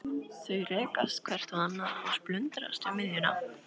Þau rekast hvert á annað og splundrast við miðjuna.